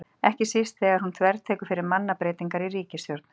Ekki síst þegar hún þvertekur fyrir mannabreytingar í ríkisstjórn.